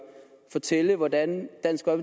fortælle hvordan dansk